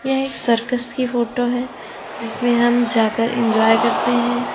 ये एक सर्कस की फोटो है जिसमें हम जाकर एंजॉय करते हैं।